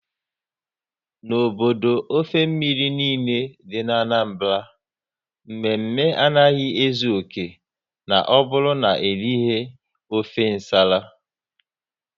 N'obodo ofe mmiri niile dị n'Anambra, mme mme anaghị ezu oké na ọ bụrụ na erighi ofe nsala